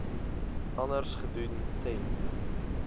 anders gedoen ten